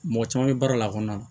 Mɔgɔ caman bɛ baara la a kɔnɔ